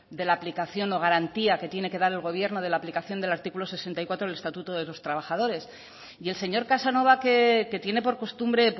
de la aplicación o garantía que tiene que dar el gobierno de la aplicación del artículo sesenta y cuatro del estatuto de los trabajadores y el señor casanova que tiene por costumbre